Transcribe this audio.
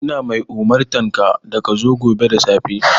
Ina mai umurtanka da ka zo gobe da safe!